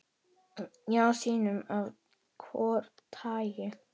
Já, sínum af hvoru tagi.